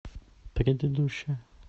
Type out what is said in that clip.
предыдущая